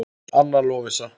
Anna Lovísa.